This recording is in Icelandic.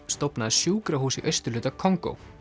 stofnaði sjúkrahús í austurhluta Kongó